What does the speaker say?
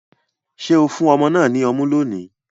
Ṣe o fun ọmọ náà ní ọmu lóni?